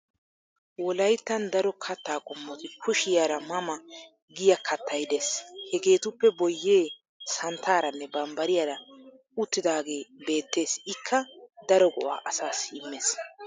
Wolayttan daro katta qommoti kishiyaara ma ma giya kattay Des. Hegeetuppe boyyee santtaaranne banbbariyara uttidaagee beettes ikka daro go'aa asaassi immes.